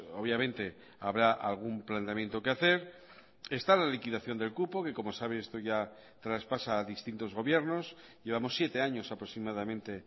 obviamente habrá algún planteamiento que hacer está la liquidación del cupo que como sabe esto ya traspasa a distintos gobiernos llevamos siete años aproximadamente